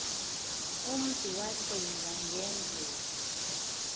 umntu wacinga ngendlela